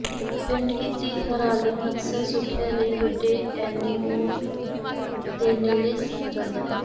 paint ਕੀਤੀ ਹਰਾਲਿੰਗ ਅਕਸਰ ਸੁਰੱਖਿਆ ਲਈ ਵੱਡੇ ਐਨੇਮੋਨ ਦੇ ਨੇੜੇ ਸੌਂ ਜਾਂਦਾ ਹੈ